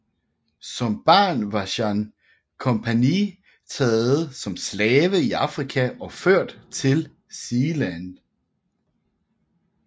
Som barn var Jan Compagnie blevet taget som slave i Afrika og ført til Zeeland